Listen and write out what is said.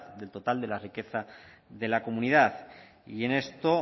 del total de la riqueza de la comunidad y en esto